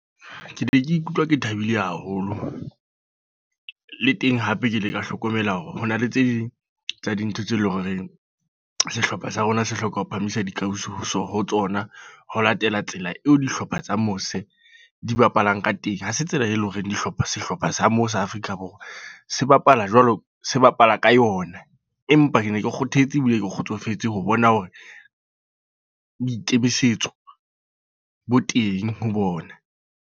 Ke ne ke ikutlwa ke thabile haholo. Le teng hape ke ile ka hlokomela hore hona le tse ding tsa dintho tse leng horeng, sehlopha sa rona se hloka ho phahamisa dikausu ho tsona. Ho latela tsela eo dihlopha tsa mose di bapalang ka teng. Ha se tsela e leng hore dihlopha, sehlopha sa mo sa Afrika Borwa se bapala jwalo, se bapala ka yona. Empa ke ne ke kgothetse ebile ke kgotsofetse ho bona hore, boikemisetso bo teng ho bona.